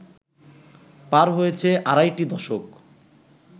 পার হয়েছে আড়াইটি দশক